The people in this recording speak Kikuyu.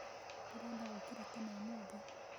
Ndĩrenda gũkĩra tene ũmũthĩ.